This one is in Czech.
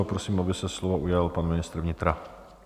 A prosím, aby se slova ujal pan ministr vnitra.